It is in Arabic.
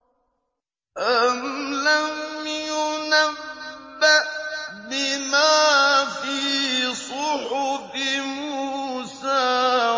أَمْ لَمْ يُنَبَّأْ بِمَا فِي صُحُفِ مُوسَىٰ